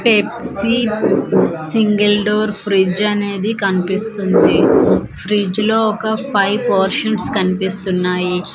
Pepsi single door fridge అనేది కన్పిస్తుంది fridge లో ఒక ఫైవ్ పోర్షన్స్ కన్పిస్తున్నాయి.